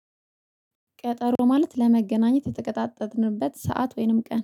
ቀጠሮ ማለት ለመገናኘት የተቀጣጠርንበት ሰዓት ወይንም ቀን